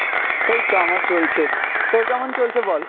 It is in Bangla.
এইতো আমার চলছে, তোর কেমন চলছে বল?